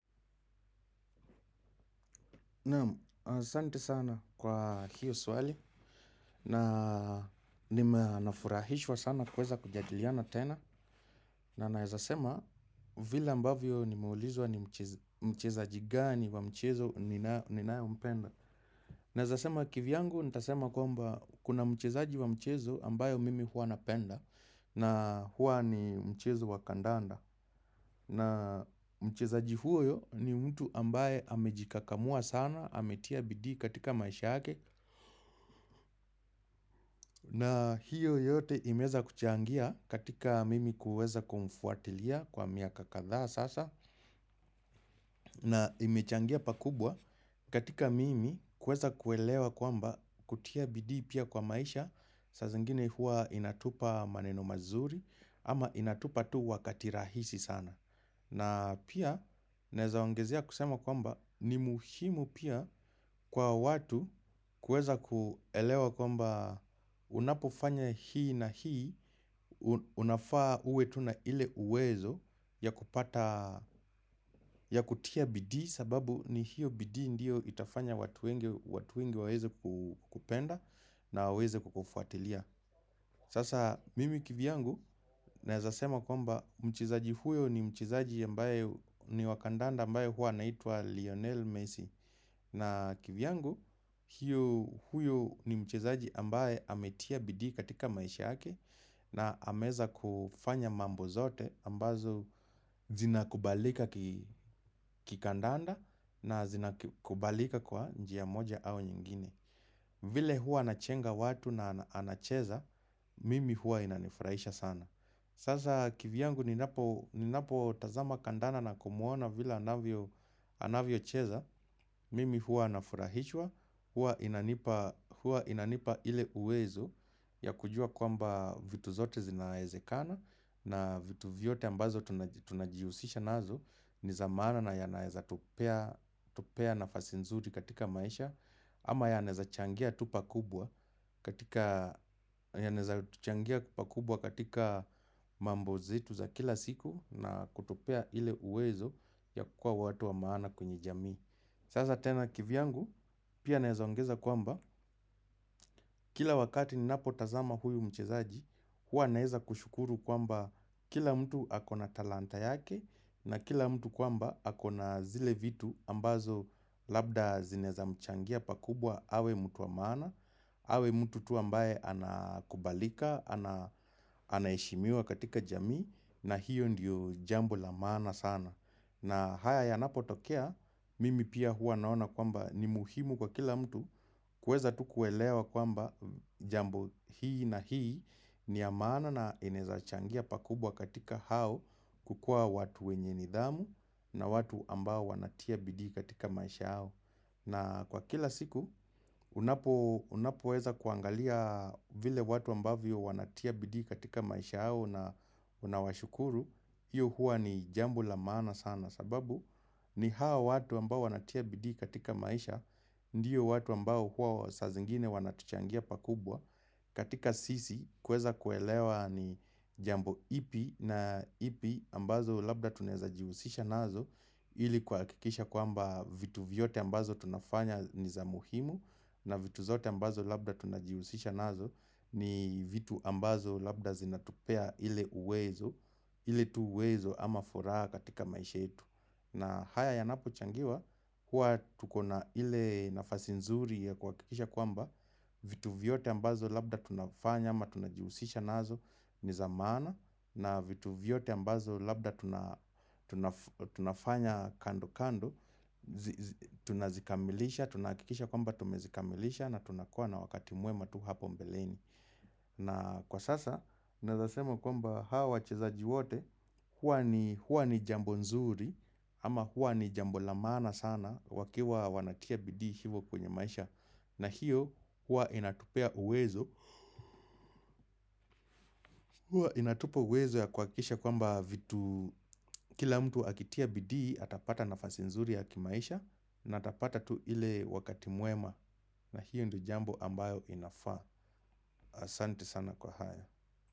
Naam, asante sana kwa hiyo swali na nima nafurahishwa sana kweza kujadiliana tena na naezasema vile ambavyo nimeulizwa ni mchezaji gani wa mchezo ninayo mpenda. Naeza sema kivyangu nitasema kwamba kuna mchezaji wa mchezo ambayo mimi hua napenda na hua ni mchezo wa kandanda na mchezaji huyo ni mtu ambaye amejikakamua sana ametia bidi katika maisha ake na hiyo yote imeza kuchangia katika mimi kuweza kumfuatilia kwa miaka kadhaa sasa na imechangia pakubwa katika mimi kuweza kuelewa kwamba kutia bidii pia kwa maisha saa zingine hua inatupa maneno mazuri ama inatupa tu wakati rahisi sana. Na pia naezaongezea kusema kwamba ni muhimu pia kwa watu kueza kuelewa kwamba unapofanya hii na hii, unafaa uwe tu na ile uwezo ya kupata, ya kutia bidii sababu ni hiyo bidii ndiyo itafanya watu wengi waweze kupenda na waeze kukufuatilia. Sasa mimi kivyangu naezasema kwamba mchezaji huyo ni mchezaji ambaye ni wa kandanda ambaye hua anaitwa Lionel Messi. Na kivyangu huyo ni mchizaji ambaye ametia bidii katika maisha yake na ameeza kufanya mambo zote ambazo zinakubalika kikandanda na zinakubalika kwa njia moja au nyingine. Vile huwa anachenga watu na anacheza, mimi huwa inanifurahisha sana. Sasa kivyangu ninapotazama kandana na kumuona vile anavyo cheza, mimi huwa nafurahishwa, huwa inanipa ile uwezo ya kujua kwamba vitu zote zinaezekana na vitu vyote ambazo tunajiusisha nazo. Ni za maana na yanaeza tupea tupea nafasi nzuri katika maisha ama yanaeza changia tu pakubwa katika mambo zetu za kila siku na kutupea ile uwezo ya kuwa watu wa maana kwenye jamii Sasa tena kivyangu pia naeza ongeza kwamba Kila wakati ninapotazama huyu mchezaji huwa naeza kushukuru kwamba kila mtu akona talanta yake na kila mtu kwamba akona zile vitu ambazo labda zinaeza mchangia pakubwa awe mtu wa maana awe mtu tu ambaye anakubalika, anaeshimiwa katika jamii na hiyo ndiyo jambo la maana sana na haya yanapotokea, mimi pia huwa naona kwamba ni muhimu kwa kila mtu kuweza tu kuelewa kwamba jambo hii na hii ni ya maana na inaeza changia pakubwa katika hao kukuwa watu wenye nidhamu na watu ambao wanatia bidii katika maisha yao. Na kwa kila siku, unapoeza kuangalia vile watu ambavyo wanatia bidii katika maisha yao na unawashukuru. Iyo huwa ni jambo la maana sana sababu ni hao watu ambao wanatia bidiiiiiiiiiiiiiiiiiiiiiiiiii katika maisha Ndiyo watu ambao huwa saa zingine wanatuchangia pakubwa katika sisi kweza kuelewa ni jambo ipi na ipi ambazo labda tuneza jiusisha nazo Ili kuakikisha kwamba vitu vyote ambazo tunafanya ni za muhimu na vitu zote ambazo labda tunajiusisha nazo ni vitu ambazo labda zinatupea ile uwezo ile tu uwezo ama furaha katika maisha yetu na haya yanapochangiwa huwa tukona ile nafasi nzuri ya kuakikisha kwamba vitu vyote ambazo labda tunafanya ama tunajiusisha nazo ni za maana na vitu vyote ambazo labda tunafanya kando kando Tunazikamilisha, tunaakikisha kwamba tumezikamilisha na tunakua na wakati mwema tu hapo mbeleni na kwa sasa, naeza sema kwamba hawa wachezaji wote huwa ni jambo nzuri ama huwa ni jambo la maana sana wakiwa wanatia bidii hivyo kwenye maisha na hiyo, huwa inatupea uwezo huwa inatupia uwezo ya kuakisha kwa mba vitu Kila mtu akitia bidii, atapata nafasi nzuri ya kimaisha na atapata tu ile wakati mwema na hiyo ndio jambo ambayo inafaa Asante sana kwa haya.